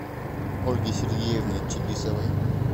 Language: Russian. ольги сергеевны чибисовой